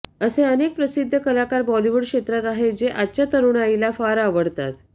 असे अनेक प्रसिद्ध कलाकार बॉलिवूड क्षेत्रात आहेत जे आजच्या तरुणाईला फार आवडतात